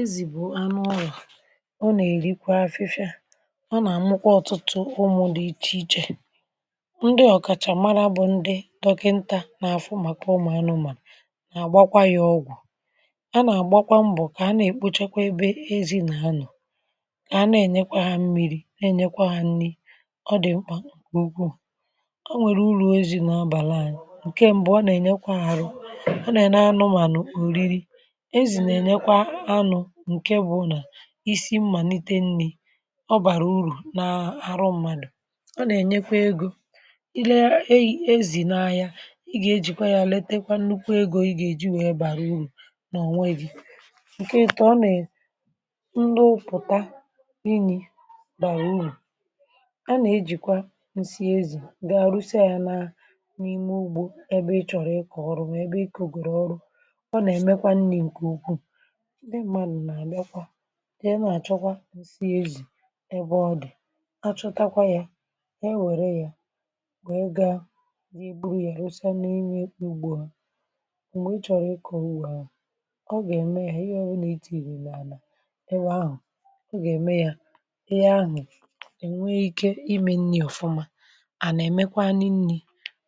Ezì bụ̀ anụ ọla, um ọ nà-èrikwa afịfịa, ọ nà-àmụkwa ọtụtụ ụmụ̀ dị iche iche. Ndị ọ̀kàchà mara bụ̀ ndị dọkịnta n’àfụ, màkà ụmụ̀ anụmanụ̀. À gbakwa yà ọgwụ̀, a nà-àgbakwa mbọ̀ kà a na-èkpochekwa ebe ezì n’anọ̀, kà a na-ènyekwa ha mmiri̇, na-ènyekwa ha nni̇. Ọ dị̀ mkpà ùkwùù. O nwèrè uru ezì̇ nà-abàla anyị̇. Nke mbụ, ọ nà-ènyekwa ahụ̀, ọ nà-ènye anụmanụ̀ ùriri isi mmàlite nni̇. Ọ bàrà uru na-àrọ mmadụ̀ um Ọ nà-ènyekwa egȯ. Ị lee ezì na-ahịa, ị gà-ejìkwa ya àletakwa nnukwu egȯ. Ị gà-èji wee bàrà uru n’ọnwa gị̇. Nke ìtà, ọ nà-enye ndị ụpụ̀ta n’inyì bàrà uru. A nà-ejikwa nsị ezì gaa àrụsịa ya nà n’ime ugbȯ, ẹbẹ ị chọ̀rọ̀ ịkọ̀ ọrụ. Wẹ̀ẹbẹ ị kọ̀gwèrè ọrụ, ọ nà-emekwa nni̇... Nke ukwuù, dị mmà nù̀, nà-àlịakwa ndị ị nà-àchọkwa nsị ezì. Ẹbẹ ọdị̀, achọtakwa ya, e nwẹ̀rẹ̀ ya, wee gaa nà èbu yà rụsịa n’inye ugbo ha. M̀gbè ị chọ̀rọ̀ ịkọ̀ uwe ha, ọ gà-ème ya. Ihe ọbụna itì, ị̀rẹ̀ n’ànà ewe ahụ̀, ọ gà-ème ya um Ịhe ahụ̀ ènwe ike ime nni̇ ọ̀fụma, à nà-èmekwa n’nnì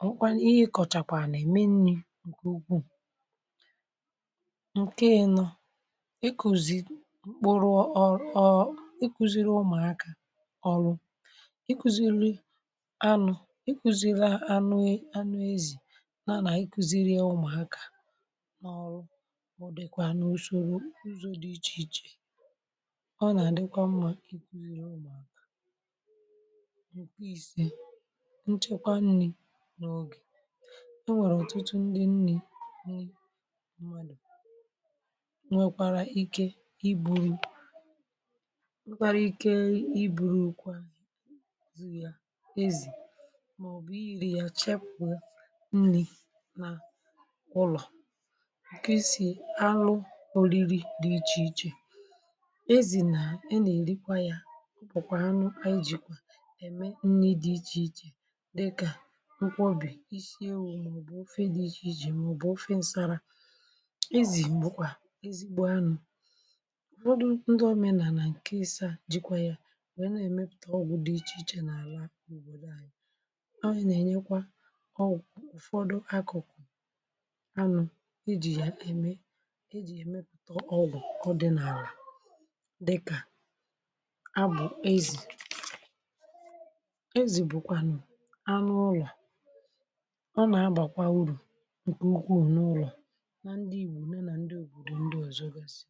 ọ̀mụkwànụ̀. Ihe ị kọ̀chàkwà nà ème nnì, nke ukwuù, nke ịnọ̇ mkpụrụ ọrụ. Ọọ, ịkụziri ụmụakȧ ọrụ, ịkụziri anụ, ịkụziri anụ ezì, na ịkụziri ụmụakȧ ọrụ. Ọ dịkwana usoro, uzọ dị iche iche. Ọ na-adịkwa mma ikuziri ụmụakȧ nchekwa nni̇ n’oge... E nwere ọtụtụ ndi nni̇, nri nkwàrà ike. Ị bùrụ kwa ezì, màọbụ̀ iri̇ ya, chapu nni̇ nà ụlọ̀, nke e si alụ oriri dị iche iche. Ezì nà e nà-èrikwa ya kpọkwa anụ, anyị jikwa ème nni dị iche iche, dịkà um nkwóbì, isi ewu̇, màọbụ̀ ofe dị iche iche, màọbụ̀ ofe ǹsàrà. M̀họdụ̀ ndị òmenàlà nke isi à, jikwa yà, nwèe na-èmepụ̀ta ọgwụ̇ dị̀ iche n’àlà ànyị. Ọọ̇, yà nà-ènyekwa ọ̀gwụ̀ ụfọdụ, akụ̀kụ̀ anụ̇, ijì yà ème, ijì èmepụ̀ta ọgwụ̀ ọdị̇ n’àlà, dịkà abụ̀ ezì. um Ezì bụ̀kwànụ̀ anụ ụlọ̀ a. Ọ nà-agbàkwa uru nkwụkwụ n’ụlọ̀, na ndị Ìgbò, na na ndị ògbòdò ndị ọ̀zọ gasị.